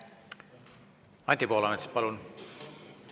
Anti Poolamets, palun!